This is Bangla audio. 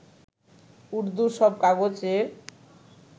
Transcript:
উর্দু সব কাগজের